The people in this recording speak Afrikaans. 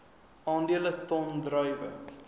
aandele ton druiwe